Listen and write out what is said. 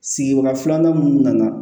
Sigiyɔrɔ filanan minnu nana